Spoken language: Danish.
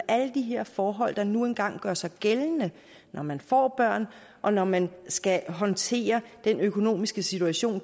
alle de her forhold der nu engang gør sig gældende når man får børn og når man skal håndtere den økonomiske situation